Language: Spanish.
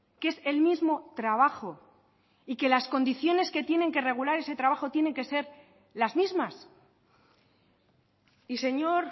que es el mismo trabajo y que las condiciones que tienen que regular ese trabajo tienen que ser las mismas y señor